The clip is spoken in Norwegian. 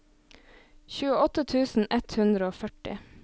tjueåtte tusen ett hundre og førti